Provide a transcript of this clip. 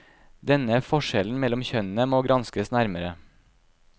Denne forskjellen mellom kjønnene må granskes nærmere.